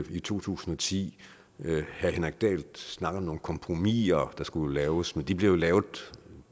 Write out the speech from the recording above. i to tusind og ti herre henrik dahl snakkede om nogle kompromiser der skulle laves men de blev jo lavet